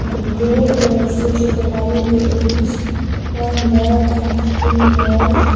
below the statue of the lion there is one male and female.